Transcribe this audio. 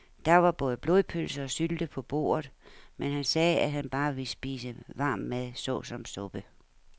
Der var både blodpølse og sylte på bordet, men han sagde, at han bare ville spise varm mad såsom suppe.